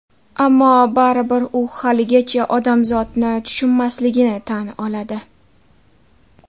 Ammo baribir u haligacha odamzotni tushunmasligini tan oladi.